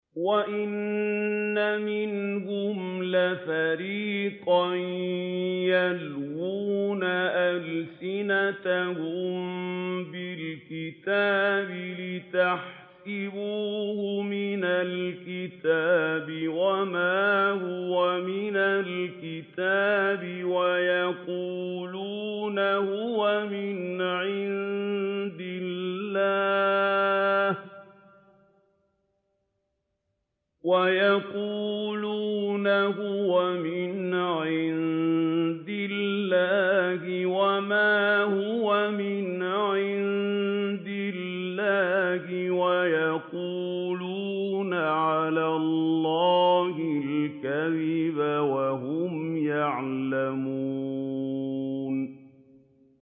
وَإِنَّ مِنْهُمْ لَفَرِيقًا يَلْوُونَ أَلْسِنَتَهُم بِالْكِتَابِ لِتَحْسَبُوهُ مِنَ الْكِتَابِ وَمَا هُوَ مِنَ الْكِتَابِ وَيَقُولُونَ هُوَ مِنْ عِندِ اللَّهِ وَمَا هُوَ مِنْ عِندِ اللَّهِ وَيَقُولُونَ عَلَى اللَّهِ الْكَذِبَ وَهُمْ يَعْلَمُونَ